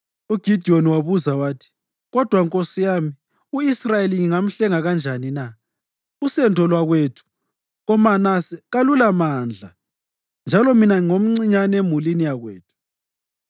UGidiyoni wabuza wathi, “Kodwa nkosi yami, u-Israyeli ngingamhlenga kanjani na? Usendo lwakwethu koManase kalulamandla, njalo mina ngingomncinyane emulini yakwethu.”